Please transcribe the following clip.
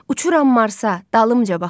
Uçuram Marsa, dalımca baxın.